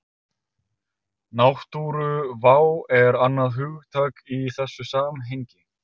Náttúruvá er annað hugtak í þessu samhengi.